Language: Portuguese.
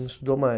Não estudou mais?